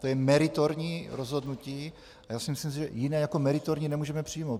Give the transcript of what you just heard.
To je meritorní rozhodnutí a já si myslím, že jiné jako meritorní nemůžeme přijmout.